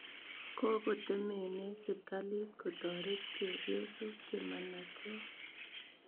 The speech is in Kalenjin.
Kokotemenee sirikalit kotoret chepyosok che manachen .